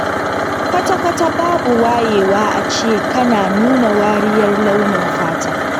Kwata-kwata babu wayewa a ce kana nuna wariyar launin fata.